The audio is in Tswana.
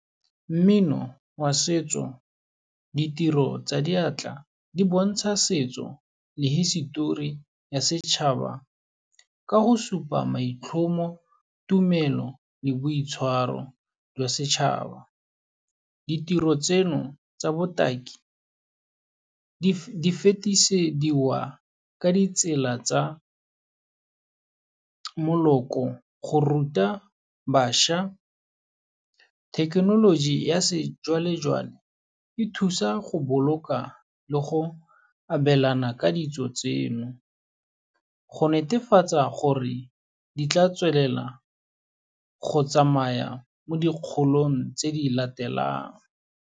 Mmino wa setso, ditiro tsa diatla di bontsha setso le hisitori ya setšhaba ka go supa maitlhomo, tumelo le boitshwaro jwa setšhaba. Ditiro tseno tsa botaki di fetisediwa ka ditsela tsa moloko, go ruta bašwa thekenoloji ya sejwalejwale, e thusa go boloka le go abelana ka ditso tseno, go netefatsa gore di tla tswelela go tsamaya mo dikgolong tse di latelang.